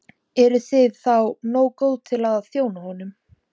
Erum við þá nógu góð til að þjóna honum?